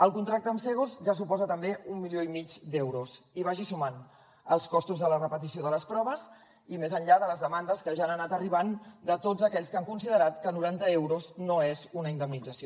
el contracte amb cegos ja suposa també un milió i mig d’euros i vagi sumant hi els costos de la repetició de les proves i més enllà de les demandes que ja han anat arribant de tots aquells que han considerat que noranta euros no és una indemnització